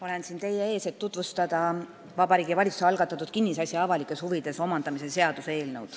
Olen siin teie ees, et tutvustada Vabariigi Valitsuse algatatud kinnisasja avalikes huvides omandamise seaduse eelnõu.